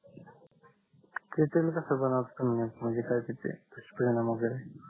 त्याचाणे कस होणार स्थमय म्हणजे काय त्याचे दुश परिणाम वगेरे